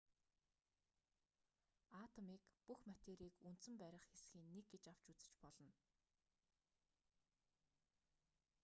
атомыг бүх материйг үндсэн барих хэсгийн нэг гэж авч үзэж болно